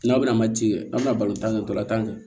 N'aw bɛna mati kɛ an bɛ na kɛ dɔlatankɛ